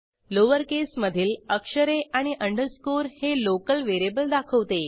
lower केसमधील अक्षरे आणि अंडरस्कोर हे लोकल व्हेरिएबल दाखवते